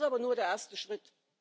Das ist aber nur der erste Schritt.